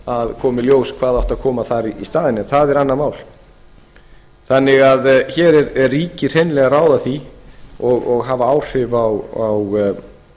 kom í ljós hvað átti að koma þar í staðinn en það er annað mál hér er ríkið því hreinlega að ráða því og